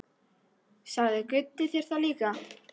Sagði Gutti þér það líka?